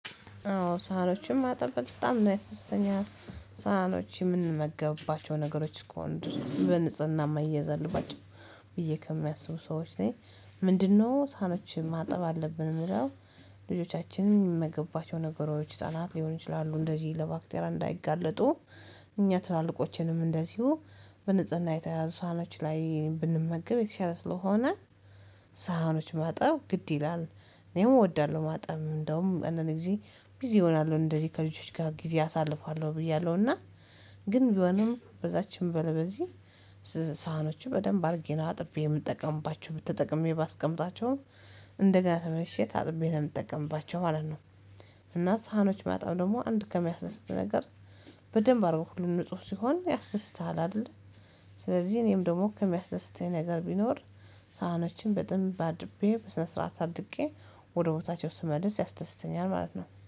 አዎ ሳህኖችም ማጠብ በጣም ያስደስተኛል። ሳህኖች የምንመገብባቸው ነገሮች ከሆንን በንጽህና ምያዘል አለባቸው ብዬ ከሚያስቡ ሰዎች ነኝ። ምንድነው ሳህኖችን ማጠብ አለብን እሚለው? ልጆቻችንን የሚመገቡባቸው ነገሮች ህፃናት ሊሆን ይችላሉ እንደዚህ ለባክቴራ እንዳይጋለጡ። እኛ ትላልቆችንም እንደዚሁ በንጽህና የተያያዙ ሳህኖች ላይ ብንመገብ የተሻለ ስለሆነ። ሳህኖች ማጠብ ግድ ይላል። እኔም እወዳለሁ ማጠብ እንደውም እንዳንድ ጊዜ ቢዚ እሆናልው እንደዚህ ከልጆች ጋር ጊዜ አሳልፋለሁ ብያለው። እና ግን ቢሆንም በዛችም ሆነ በዚህ ሳህኖችን በደንብ አድርጌ ነው አጥቤ የምጠቀምባቸው ተጠቅሜ ባስቀምጣቸውም እንደገና ተመልሼ ታጥቤ ስለምጠቀምባቸው ማለት ነው። እና ሳህኖች በማጠብ ደግሞ አንድ ከሚያስደስት ነገር በደንብ አድርጎ ሁሉም ንጹህ ሲሆን ያስደስተሃል አይለል። ስለዚህ እኔም ደግሞ ከሚያስደስተኝ ነገር ቢኖር ሳህኖችን በደንብ አጥቤ በስነ ስርዓት አድርቄ ወደ ቦታቸው ስመልስ ያስደስተኛል ማለት ነው